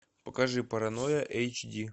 покажи паранойя эйч ди